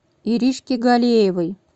иришке галеевой